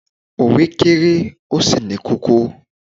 òwe kere, o sí ní kókó